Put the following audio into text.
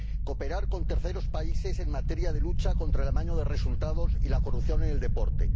cooperar con terceros países en materia de lucha contra el amaño de resultados y la corrupción en el deporte